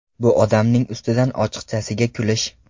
Bu odamning ustidan ochiqchasiga kulish.